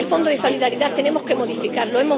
El Fondo de Solidaridad tenemos que modificarlo.